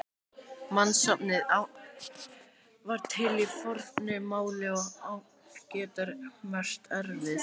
Mannsnafnið Ánn var til í fornu máli og ánn getur merkt erfiði.